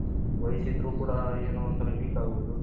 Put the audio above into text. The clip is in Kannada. ವಯಸು ಇದ್ರೂ ಕೂಡ ಏನೋ ಒಂದ್ ತರ ವೀಕ್ ಆಗೋದು.